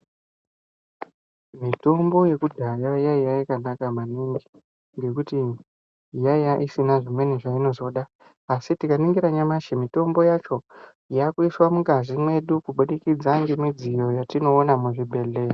Mitombo yekudhaya yaiya yakanaka maningi ngekuti yaiya isina zvimweni zvainozoda, asi tikaningira nyamashi mutombo yacho yakuiswa mungazi mwedu kubudikidza ngemidziyo yetinoona muzvibhedhlera.